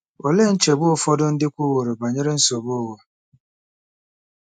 Olee nchegbu ụfọdụ ndị kwuworo banyere nsogbu ụwa?